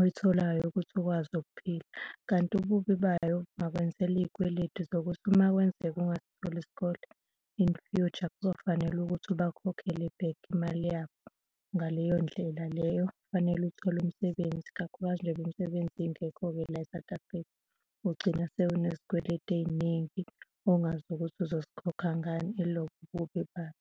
oyitholayo ukuthi ukwazi ukuphila. Kanti ububi bayo ingakwenzela iy'kweletu zokuthi uma kwenzeka ungatholi isikole, in future kuzofanele ukuthi ubakhokhele back imali yabo, ngaleyo ndlela leyo kufanele uthole umsebenzi, kakhulukazi njengoba imisebenzi ingekho-ke la e-South Africa, ugcina usenezikweletu ey'ningi ongazi ukuthi uzozikhokha ngani, yilobo ububi bayo.